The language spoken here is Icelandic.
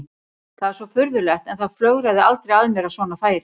Það er svo furðulegt en það flögraði aldrei að mér að svona færi.